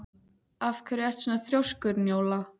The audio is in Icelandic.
Af hverju ertu svona þrjóskur, Njóla?